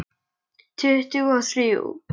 Tuttugu og þrjú!